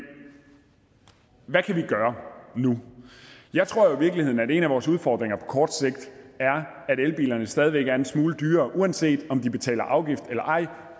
hvad kan vi gøre nu jeg tror jo i virkeligheden at en af vores udfordringer på kort sigt er at elbilerne stadig væk er en smule dyrere uanset om der betales afgift eller ej